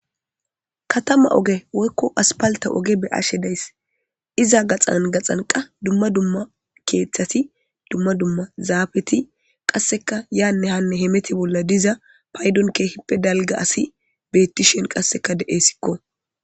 Katama oge woykko aspalta oge be ashe dayss iza gaxan gaxanqa dumma dumma keeththati dumma dumma zaafeti qasseka yaanne hanne hemeti bolla diza paydon kehppe dalga asi bettishen qasseka de'esikko